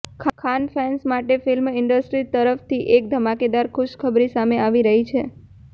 Khan fans માટે film industries તરફથી એક ધમાકેદાર ખુશખબરી સામે આવી રહી છે